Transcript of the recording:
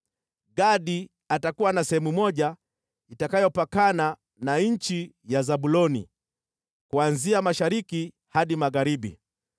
“Gadi atakuwa na sehemu moja, itakayopakana na nchi ya Zabuloni kuanzia mashariki hadi magharibi.